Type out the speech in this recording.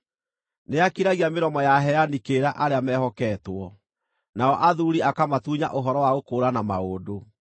Nĩakiragia mĩromo ya aheani kĩrĩra arĩa meehoketwo, nao athuuri akamatunya ũhoro wa gũkũũrana maũndũ.